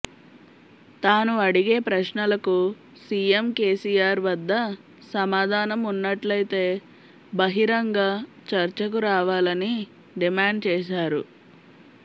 తాను అడిగే ప్రశ్నలకు సీఎం కేసీఆర్ వద్ద సమాధానం ఉన్నట్లయితే బహరింగ చర్చకు రావాలని డిమాండ్ చేశారు